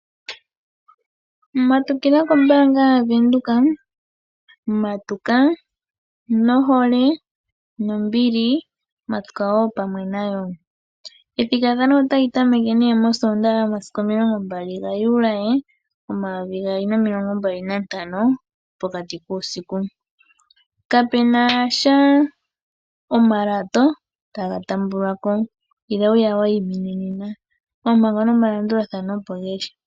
Matukila kombaanga yaVenduka, matuka nohole, nombili matuka wo pamwe nayo. Ethigathano otali tameke nee mosoondaha yomasiku 25 Juli 2025 pokati kuusiku. Kapunasha omalato taga taambwako. Ila wuya wayimine nena, oompango nomalandulathano opo geli.